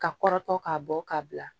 Ka kɔrɔtɔ k'a bɔ ka bila